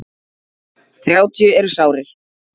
Þrjátíu eru sárir.